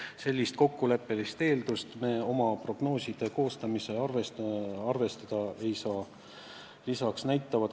Aga sellist kokkuleppelist eeldust me oma prognooside koostamisel arvestada ei saa.